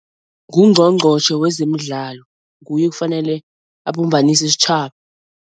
Ngungqongqotjhe wezemidlalo, nguye kufanele abumbanise isitjhaba.